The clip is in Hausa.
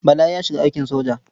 Bala ya shiga aikin soja.